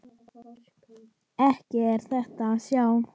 Ekki er það að sjá.